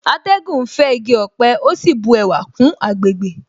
Atẹ́gùn ń fẹ́ igi ọ̀pẹ ó sì bu ẹwà kún àgbègbè